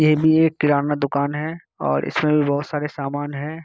ये भी एक किराना दुकान है और इसमे भी बहुत सारे समान हैं।